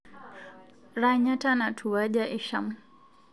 Ranyata natuwuja isham